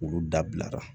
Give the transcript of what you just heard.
Olu dabila